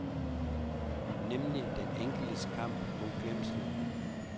Nemlig den enkeltes kamp mod glemslen.